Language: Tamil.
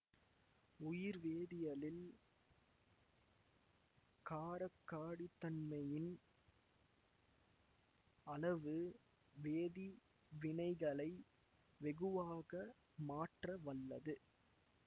உயிர்வேதியலில் காரக்காடித்தன்மையின் அளவு வேதி வினைகளை வெகுவாக மாற்ற வல்லது